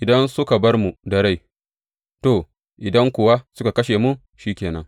Idan suka bar mu da rai, to; idan kuwa suka kashe mu, shi ke nan.